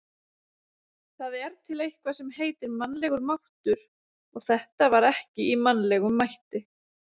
Það er til eitthvað sem heitir mannlegur máttur, og þetta var ekki í mannlegum mætti.